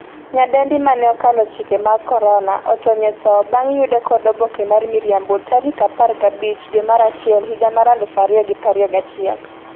nyadendi mane 'okalo chike mag korona' otony e tho bang' yude kod oboke mar miriambo tarik 15 dwe mar achiel higa mar 2021